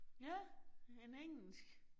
Ja, en engelsk